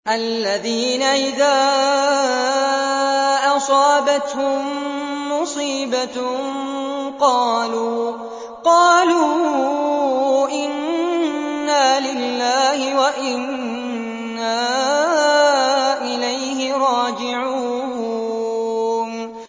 الَّذِينَ إِذَا أَصَابَتْهُم مُّصِيبَةٌ قَالُوا إِنَّا لِلَّهِ وَإِنَّا إِلَيْهِ رَاجِعُونَ